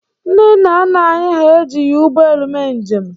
Ndị nna nna anyị hà ejighi ụgbọelu mee njem.